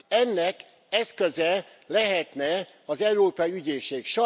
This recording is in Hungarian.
Ennek eszköze lehetne az Európai Ügyészség.